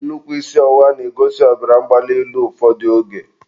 nnukwu isi ọwụwa na-egosi ọbara mgbali elu ụfọdụ oge.